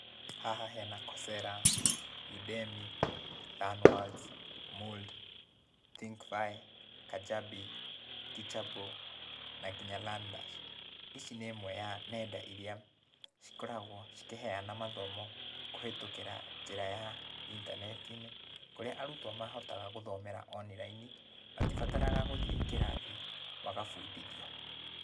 Haha hena Coursera, Udemy, Learn Worlds, Moodle, THINKFIC, KAJABI, Teach:able na nginya Learn Dash ici nĩ ĩmwe ya nenda ĩrĩa cikoragwo cikĩheana mathomo kũhĩtũkĩra njĩra ya intaneti-inĩ kũrĩa arutwo mahotaga gũthomera onirini matĩbataraga gũthie kĩrathi magabundithio.